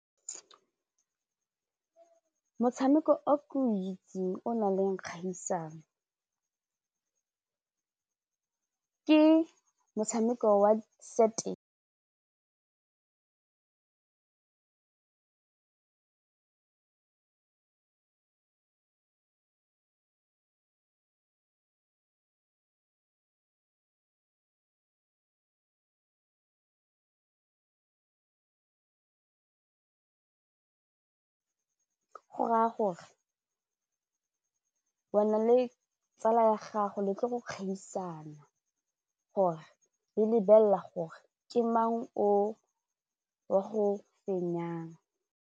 Motshameko o ke o itse o nang le dikgaisanong ke motshameko wa go raya gore wena le tsala ya gago le tlo go kgaisana gore le lebelela gore ke mang o wa go fenyang.